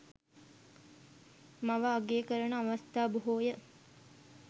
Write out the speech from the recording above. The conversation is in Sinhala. මව අගය කරන අවස්ථා බොහෝ ය.